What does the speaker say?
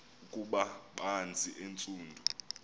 ukuba banzi entsundu